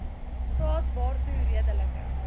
graad waartoe redelike